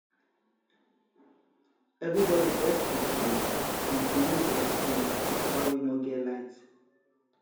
evribodi first confuse until news explain why we nor get light